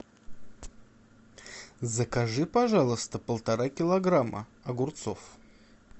закажи пожалуйста полтора килограмма огурцов